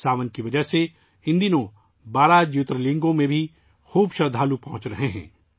ان دنوں بے شمار عقیدت مند 'ساون' کی وجہ سے 12 جیوترلنگوں تک پہنچ رہے ہیں